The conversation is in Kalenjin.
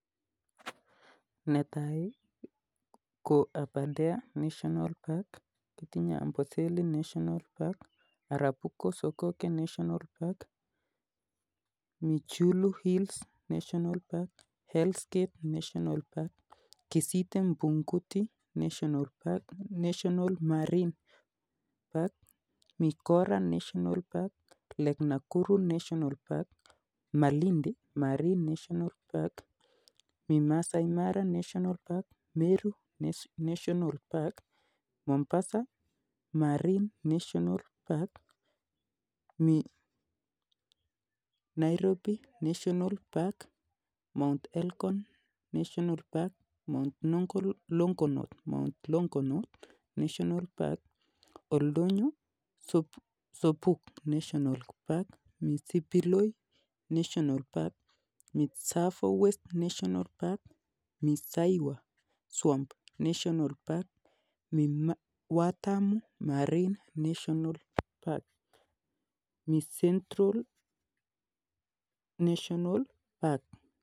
Netai ko Aberdare national park, kitinye Amboseli national park, Arabuko sokoke national park, chyulu hills national park, Hell's gate national park ,kisite bukute national park, national marine national park, mikora national park, lake Nakuru national park, Malindi marine national park, mii maasai mara national park, meru national park , Mombasa marine national park, Mii um Nairobi national park, Mount Elgon national park, Mount noo um longonot national park, Oldonyo sabuk national park, siliboi national park, Mii tsavo west national park, saiwa swamp national park, mi watamu national park, mi central national park.